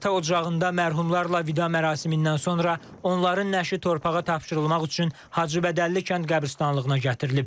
Ata ocağında mərhumlarla vida mərasimindən sonra onların nəşi torpağa tapşırılmaq üçün Hacıbədəlli kənd qəbristanlığına gətirilib.